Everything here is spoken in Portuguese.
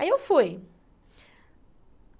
Aí eu fui.